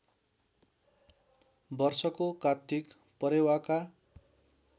वर्षको कात्तिक परेवाका